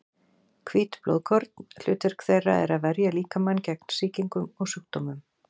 Hvít blóðkorn: hlutverk þeirra er að verja líkamann gegn sýkingum og sjúkdómum.